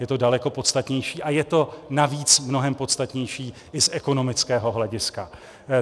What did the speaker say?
Je to daleko podstatnější, a je to navíc mnohem podstatnější i z ekonomického hlediska.